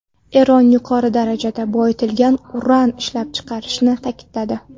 Eron yuqori darajada boyitilgan uran ishlab chiqarishni tikladi.